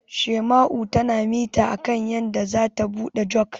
Shaima'u tana mita akan yadda zata buɗe Jug.